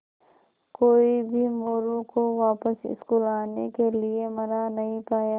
कोई भी मोरू को वापस स्कूल आने के लिये मना नहीं पाया